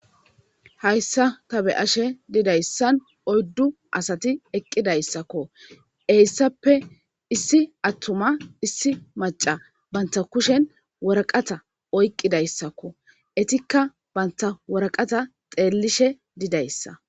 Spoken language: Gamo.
Hayssa ta be ashe didayssan oyddu asati eqqidayssakko eyssappe issi attuma issi maca banta kushen woraqata oyqqidayssakko etikka banta woraqata xeellishe didayssa.